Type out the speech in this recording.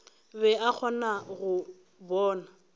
be a kgona go bona